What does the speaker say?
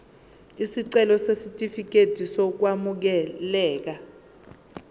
isicelo sesitifikedi sokwamukeleka